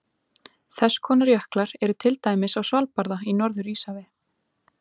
Þess konar jöklar eru til dæmis á Svalbarða í Norður-Íshafi.